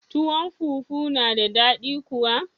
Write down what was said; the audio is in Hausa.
Tuwon fufu na da daɗi kuwa